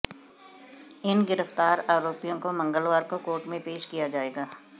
इन गिरफ्तार आरोपियों को मंगलवार को कोर्ट में पेश किया जाएगा